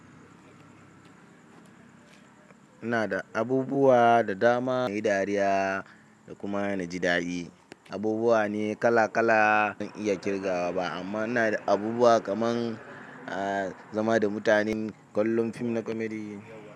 Ina da abubuwa da dama nayi dariya da kuma naji daɗi. Abubuwa ne kala kala bazan iya ƙirgawa ba amma ina da abubuwa kaman zama da mutanen kallon fim na comedy.